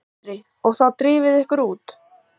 Andri: Og þá drifuð þið ykkur út?